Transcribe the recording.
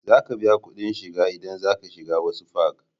Za ka biya kudin shiga in za ka shiga wasu fak